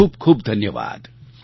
ખૂબ ખૂબ ધન્યવાદ